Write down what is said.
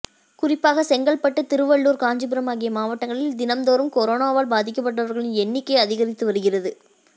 குறிப்பாக செங்கல்பட்டு திருவள்ளூர் காஞ்சிபுரம் ஆகிய மாவட்டங்களில் தினந்தோறும் கொரோனாவால் பாதிக்கப்பட்டவர்களின் எண்ணிக்கை அதிகரித்து வருகிறது